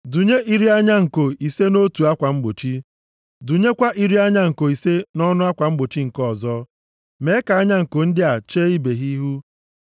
Dụnye iri anya nko ise nʼotu akwa mgbochi, dụnyekwa iri anya nko ise nʼọnụ akwa mgbochi nke ọzọ. Mee ka anya nko ndị a chee ibe ha ihu.